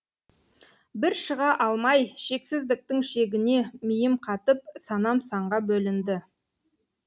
бір шыға алмай шексіздіктің шегіне миым қатып санам санға бөлінді